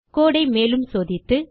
கோடு ஐ மேலும் சோதித்து